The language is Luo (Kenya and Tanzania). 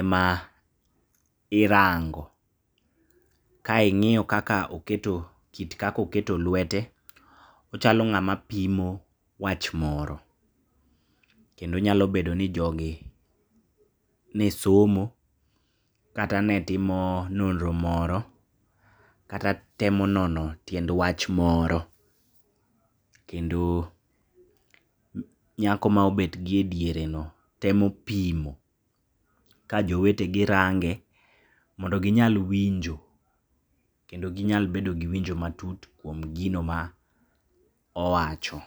ema irango. Kaing'iyo kaka oketo kit kaka oketo lwete ochalo ng'ama pimo wach moro, kendo nyalo bedoni jogi nesomo, kata netimo nonro moro, kata temo nono tiend wach moro, kendo nyako maobetgi e diere no temo pimo kajowetege range mondo ginyal winjo kendo ginyal bedogi winjo matut kuom gino maowacho.